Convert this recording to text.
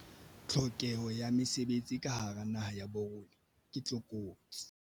Tlhokeho ya mesebetsi ka hara naha ya bo rona ke tlokotsi.